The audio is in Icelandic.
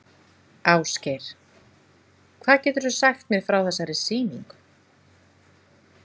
Ásgeir: Hvað geturðu sagt mér frá þessari sýningu?